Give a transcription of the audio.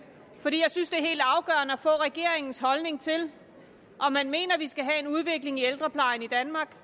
er helt afgørende at få regeringens holdning til om man mener at vi skal have en udvikling i ældreplejen i danmark